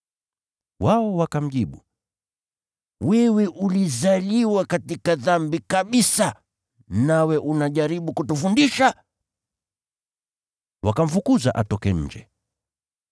Wao wakamjibu, “Wewe ulizaliwa katika dhambi kabisa, nawe unajaribu kutufundisha?” Wakamfukuza atoke nje.